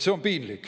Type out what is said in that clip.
" See on piinlik.